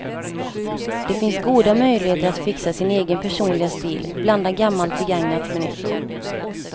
Det finns goda möjligheter att fixa sin egen personliga stil, blanda gammalt begagnat med nytt.